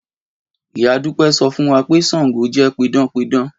Ìyá Dúpẹ́ sọ fún wa pé Ṣàngó jẹ́ pidánpidán